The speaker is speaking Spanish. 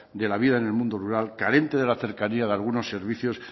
de la vida en el mundo rural carente de la cercanía de algunos servicios